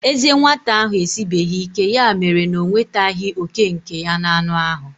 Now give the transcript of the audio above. Ezé nwata ahụ esibeghị ike, ya mere na o nwetaghị òkè nke ya n'anụ ahụ.